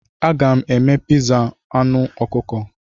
Aga m eme piza anụ ọkụkọ.